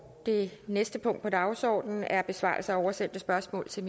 det næste punkt på dagsordenen er besvarelse af oversendte spørgsmål til